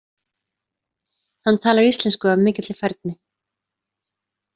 Hann talar íslensku af mikilli færni.